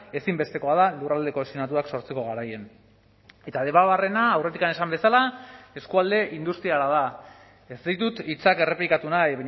ezinbestekoa da lurralde kohesionatuak sortzeko garaian eta debabarrena aurretik esan bezala eskualde industriala da ez ditut hitzak errepikatu nahi